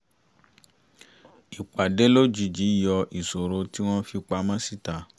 ìpàdé lójijì yọ ìṣòro tí wọn fi pamọ̀ síta